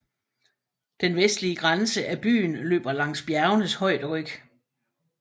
Den vestlige grænse af byen løber langs bjergenes højderyg